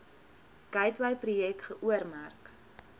gateway projek geoormerk